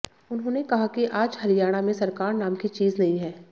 उन्होंने कहा कि आज हरियाणा में सरकार नाम की चीज नहीं है